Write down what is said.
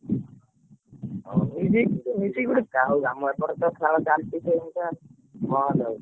ହଉ ହଉ ଲୁଚିକି ଗୋଟେ ଯାହଉ ଆମ ଏପଟେ ତ ଖେଳ ଚାଲିଛି ସେମିତିଆ ବନ୍ଦ ହଉନି।